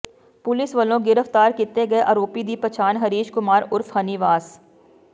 police ਵੱਲੋਂ ਗਿ੍ਫਤਾਰ ਕੀਤੇ ਗਏ ਆਰੋਪੀ ਦੀ ਪਛਾਣ ਹਰੀਸ਼ ਕੁਮਾਰ ਉਰਫ ਹਨੀ ਵਾਸ